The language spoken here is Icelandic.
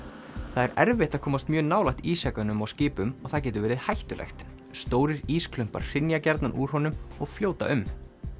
það er erfitt að komast mjög nálægt ísjakanum á skipum og það getur verið hættulegt stórir hrynja gjarnan úr honum og fljóta um